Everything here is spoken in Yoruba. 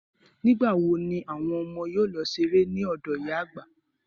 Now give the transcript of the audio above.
Nígbà wo ni àwọn ọmọ yóò lọ ṣeré lọ́dọ̀ ìyá àgbà.